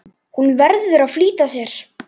Hún verður að flýta sér.